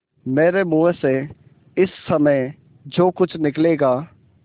मेरे मुँह से इस समय जो कुछ निकलेगा